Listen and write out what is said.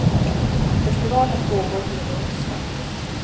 Festivalen pågår till och med onsdag.